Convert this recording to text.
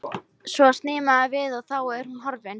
Svo snýr maður við og þá er hún horfin.